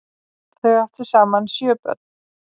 Þau áttu saman sjö börn.